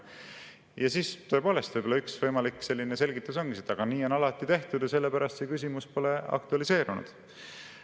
Ja tõepoolest, võib-olla üks võimalik selgitus ongi, et nii on alati tehtud ja sellepärast see küsimus pole aktualiseerunud.